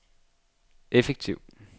effektiv